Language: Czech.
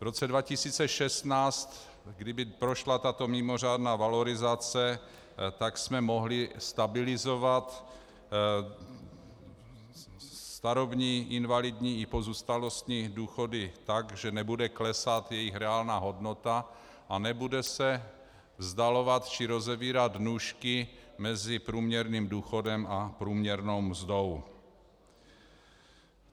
V roce 2016, kdyby prošla tato mimořádná valorizace, tak jsme mohli stabilizovat starobní, invalidní i pozůstalostní důchody tak, že nebude klesat jejich reálná hodnota a nebude se vzdalovat či rozevírat nůžky mezi průměrným důchodem a průměrnou mzdou.